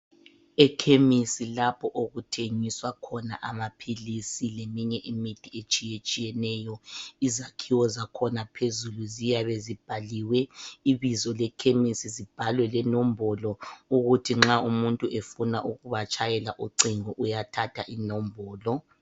Ekhemesi lapho okuthengiswa khona amaphilisi leminye imithi etshiyetshiyeneyo izakhowo zakhona phezulu ziyabe zibhaliwe ibizo lekemisi zibhalwe lenombolo ukuthi nxa umuntu efuna ukubatdhayela ucingo uyathatha inombolo.